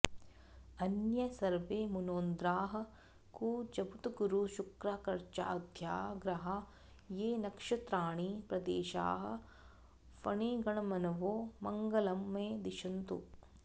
अन्ये सर्वे मुनोन्द्राः कुजबुधगुरुशुक्रार्कजाद्या ग्रहा ये नक्षत्राणि प्रदेशाः फणिगणमनवो मङ्गलं मे दिशन्तु